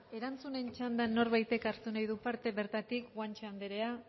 erantzunen txandan norbaitek hartu nahi du parte bertatik guanche anderea